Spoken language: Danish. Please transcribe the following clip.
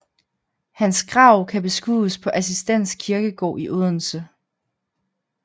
Hans grav kan beskues på Assistens kirkegård i Odense